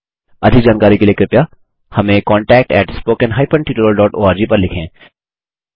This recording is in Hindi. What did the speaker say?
अधिक जानकारी के लिए कृपया हमें contactspoken हाइफेन tutorialओआरजी पर लिखें